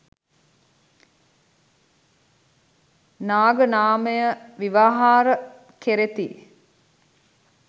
නාග නාමය ව්‍යවහාර කෙරෙති.